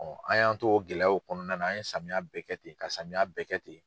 an y'an to o gɛlɛyaw kɔnɔna na an ye samiya bɛɛ kɛ ten ka samiya bɛɛ kɛ ten.